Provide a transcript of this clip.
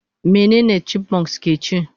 Mene chipmunks keci?